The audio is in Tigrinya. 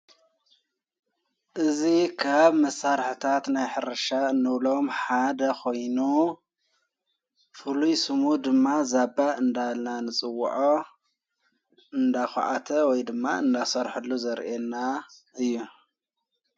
እዝ ኻብ መሳርሕታት ናይ ሕርሻ እኖብሎም ሓደ ኾይኖ ፍሉይስሙ ድማ ዛባእ እንዳና ንጽውዖ እንዳዂዓተ ወይ ድማ እንናሠርሐሉ ዘርአና እዩ።